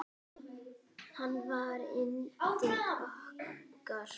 Hann var yndið okkar.